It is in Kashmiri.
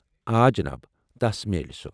آ جناب، تَس میلہ سۄ۔